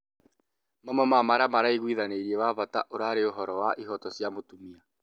Mamwe ma maria maraigwithanĩirie wa bata ũrarĩ ũhoro wa ihoto cia mũtumia